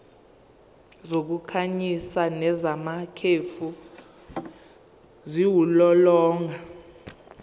zokukhanyisa nezamakhefu ziwulolonga